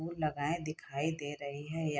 फूल लगाए दिखाई दे रहे हैं य --